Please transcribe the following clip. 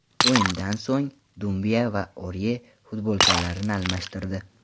O‘yindan so‘ng Dumbiya va Orye futbolkalarini almashtirdi.